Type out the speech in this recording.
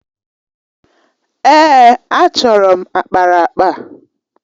Èè, achọrọ m akparaakpa.